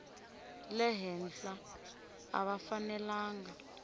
le henhla a va fanelanga